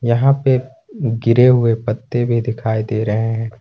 यहां पे गिरे हुए पत्ते भी दिखाई दे रहे हैं।